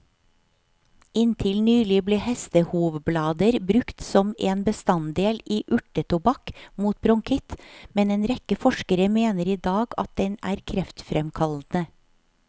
Inntil nylig ble hestehovblader brukt som en bestanddel i urtetobakk mot bronkitt, men en rekke forskere mener i dag at den er kreftfremkallende.